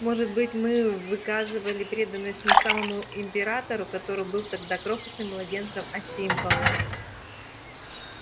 может быть мы выказали преданность не самому императору который был тогда крохотным младенцем а символу